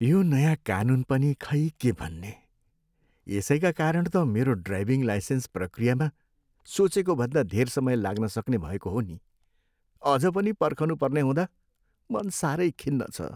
यो नयाँ कानुन पनि खै के भन्ने? यसैका कारण त मेरो ड्राइभिङ लाइसेन्स प्रक्रियामा सोचेको भन्दा धेर समय लाग्नसक्ने भएको हो नि। अझ पनि पर्खनुपर्ने हुँदा मन साह्रै खिन्न छ।